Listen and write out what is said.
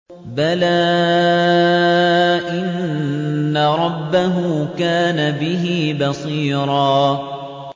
بَلَىٰ إِنَّ رَبَّهُ كَانَ بِهِ بَصِيرًا